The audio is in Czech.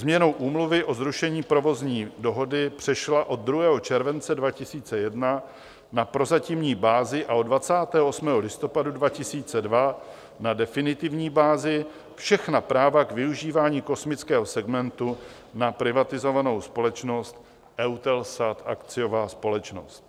Změnou Úmluvy o zrušení provozní dohody přešla od 2. července 2001 na prozatímní bázi a od 28. listopadu 2002 na definitivní bázi všechna práva k využívání kosmického segmentu na privatizovanou společnost EUTELSAT, akciová společnost.